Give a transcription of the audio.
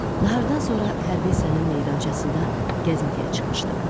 Nahardan sonra hərbi hissənin meydançasında gəzintiyə çıxmışdım.